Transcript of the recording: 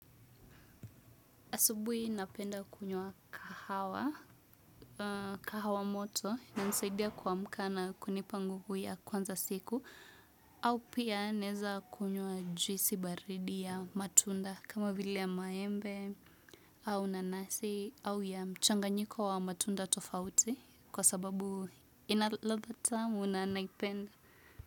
Asubui napenda kunywa kahawa moto na nisaidia kuamka na kunipa nguvu ya kuanza siku au pia naeza kunywa juisi baridi ya matunda kama vile ya maembe au nanasi au ya mchanganyiko wa matunda tofauti kwa sababu ina ladha tamu na naipenda.